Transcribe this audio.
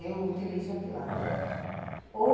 Eu utilizo a tilápia, ou